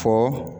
Fɔ